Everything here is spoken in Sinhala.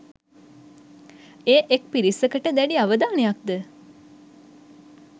එය එක් පිරිසකට දැඩි අවධානයක්ද